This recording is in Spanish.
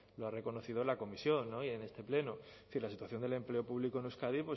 lo ha reconocido en la comisión y en este pleno la situación del empleo público en euskadi